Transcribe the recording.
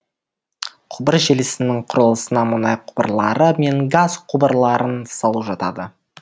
құбыр желісінің құрылысына мұнай құбырлары мен газ құбырларын салу жатады